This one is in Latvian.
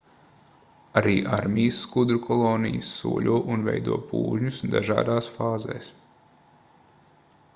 arī armijas skudru kolonijas soļo un veido pūžņus dažādās fāzēs